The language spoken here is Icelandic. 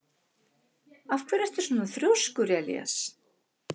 Af hverju ertu svona þrjóskur, Elías?